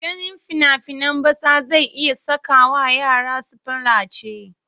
Ganin fina-finan batsa zai iya sakawa yara su palace.